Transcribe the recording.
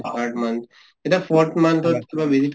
third month এতিয়া forth month ত কিবা